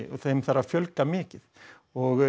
og þeim þarf að fjölga mikið og